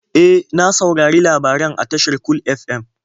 E, na saurari labaran a tashar Cool FM.